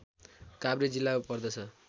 काभ्रे जिल्ला पर्दछ